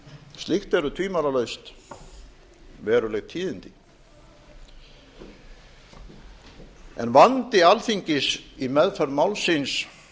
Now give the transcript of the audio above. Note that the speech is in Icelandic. slíkt eru tvímælalaust veruleg tíðindi en vandi alþingis í meðferð málsins